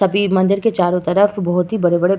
तभी मंदिर के चारों तरफ बोहोत ही बड़े-बड़े --